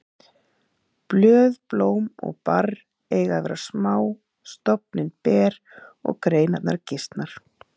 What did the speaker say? Blöð, blóm og barr eiga að vera smá, stofninn ber og greinarnar gisnar.